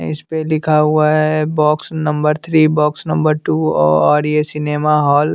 इस पे लिखा हुआ है box number three box number two और ये सिनेमा हॉल --